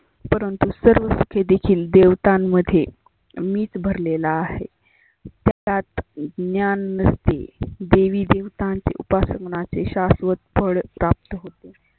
परंतु सर्व क्षेतितील देवतां मध्ये मीच भरलेला आहे. तर त्यात ज्ञान नसते. देवी देवतांची उपासना शास्वत फळ प्राप्त होते.